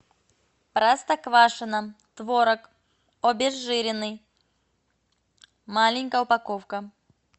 простоквашино творог обезжиренный маленькая упаковка